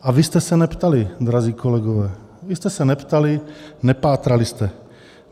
A vy jste se neptali, drazí kolegové, vy jste se neptali, nepátrali jste.